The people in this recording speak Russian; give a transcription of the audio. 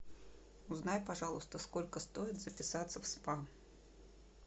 узнай пожалуйста сколько стоит записаться в спа